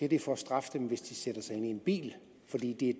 er for at straffe dem hvis de sætter sig ind i en bil fordi det er